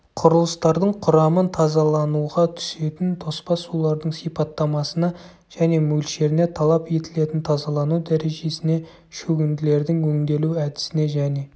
құрылыстардың құрамын тазалануға түсетін тоспа сулардың сипаттамасына және мөлшеріне талап етілетін тазалану дәрежесіне шөгінділердің өңделу әдісіне және